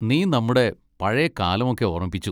നീ നമ്മുടെ പഴേ കാലമൊക്കെ ഓർമ്മിപ്പിച്ചു.